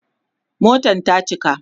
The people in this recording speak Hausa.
Motan ta cika